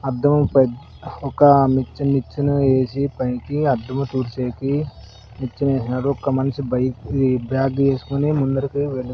అద్దంపై ఒక మిచ్చెన నిచ్చెన వేసి పైకి అద్దం తుడిచేకి నిచ్చెన వేశాడు ఒక మనిషి బైక్ బ్యాగ్ వేసుకొని ముందరకి వెలు --